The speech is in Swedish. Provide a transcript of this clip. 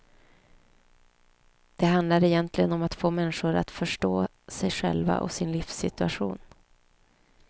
Det handlar egentligen om att få människor att förstå sig själva och sin livssituation.